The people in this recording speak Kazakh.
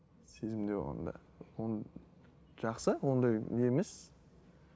сезімде болғанда жақсы ондай не емес